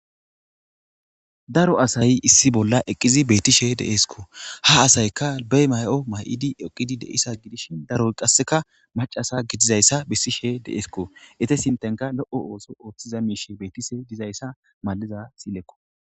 Daro asay issi bolla eqqizi beettishe deesko ha asayka bey may'o may'idi eqidi deisa gidishin daroy qasseka macasa gidizayssa bessishe deesko ete sintenka lo7o ooso ooththiza miishe beettishe dizayssa maliza silekko.